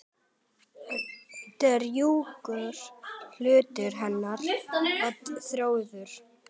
Drjúgur hluti hennar var Þórður.